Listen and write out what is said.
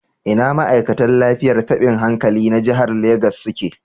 Ina ma'aikatan lafiyar tabin hankali na jihar Legas suke